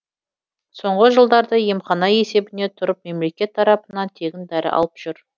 соңғы жылдары емхана есебіне тұрып мемлекет тарапынан тегін дәрі алып жүр